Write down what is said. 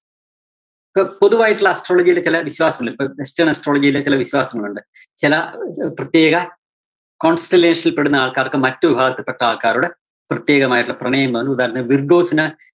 പൊ~പൊതുവായിട്ടുള്ള astrology ക്കല് വിശ്വാസങ്ങളുണ്ട്. ഇപ്പോ christian astrology യില് ചെല വിശ്വാസങ്ങളുണ്ട്. ചെല പ്രത്യേക constellation ല്‍ പെടുന്ന ആള്‍ക്കാര്‍ക്ക് മറ്റ് വിഭാഗത്തില്‍പ്പെട്ട ആള്‍ക്കാരോട് പ്രത്യേകമായിട്ടൊള്ള പ്രണയം തോന്ന ഉദാഹരണത്തിന് വിര്‍ഗോസിന്